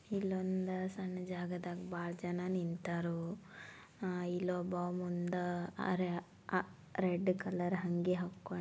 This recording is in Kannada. ಇಲ್ಲಿ ಒಂದು ಸಣ್ಣ ಜಾಗದ ಬಾಳ ಜನ ನಿಂತರು ಆ ಇಲ್ಲೊಬ್ಬ ಮುಂದ ಆ ರೆಡ್ ಕಲರ್ ಹಂಗೆ ಹಾಕೊಂಡು --